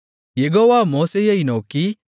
யெகோவா மோசேயை நோக்கி